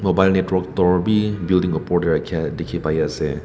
mobile network tower bi building opor dae rakia diki pai asae.